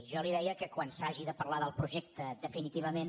jo li deia que quan s’hagi de parlar del projecte de·finitivament